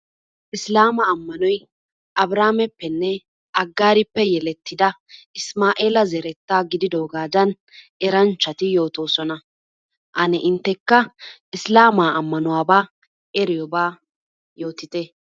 Isllaama ammanoy Abrihameppe Agarippe yeletida Isimaa'eela zeretta gididoogada eranchchati yoottosona. Ane inntekka Isilaama ammanuwaba eriyooba yoottite.